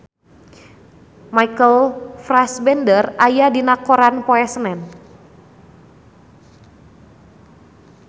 Michael Fassbender aya dina koran poe Senen